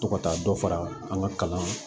To ka taa dɔ fara an ka kalan